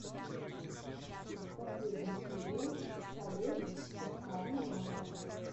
последняя серия халех адхами нава